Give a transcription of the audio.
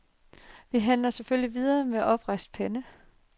Vi forhandler selvfølgelig videre med oprejst pande.